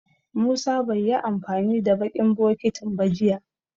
Musa bai yi amfani da baƙin bokitin ba jiya.